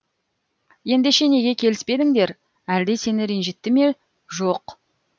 ендеше неге келіспедіңдер әлде сені ренжітті ме жоқ